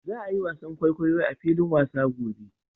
Za a yi wasan kwaikwayo a filin wasa gobe